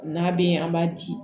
N'a bɛ yen an b'a di